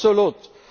absolut